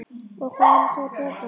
Og hvað á hann að segja börnunum?